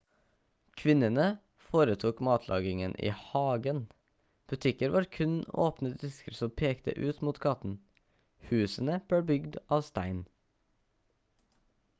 kvinnene foretok matlagingen i hagen butikker var kun åpne disker som pekte ut mot gaten husene ble bygd av stein